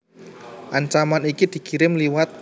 Ancaman iki dikirim liwat